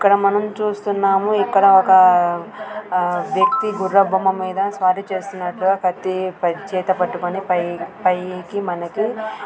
ఇక్కడ మనం చుస్తునము ఇక్కడ ఒక్క ఒక అ వ్యక్తీ గుర్రపు బొమ్మ మీద స్వారి చేస్తునట్టుగా పై కత్తిచేతపట్టుకొని పై పైకి మనకి --